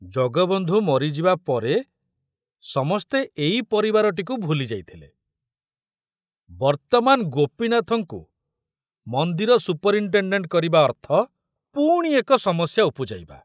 ଜଗବନ୍ଧୁ ମରିଯିବା ପରେ ସମସ୍ତେ ଏଇ ପରିବାରଟିକୁ ଭୁଲି ଯାଇଥିଲେ, ବର୍ତ୍ତମାନ ଗୋପୀନାଥଙ୍କୁ ମନ୍ଦିର ସୁପରିନଟେଣ୍ଡେଣ୍ଟ କରିବା ଅର୍ଥ ପୁଣି ଏକ ସମସ୍ୟା ଉପୁଜାଇବା।